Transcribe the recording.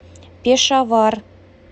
пешавар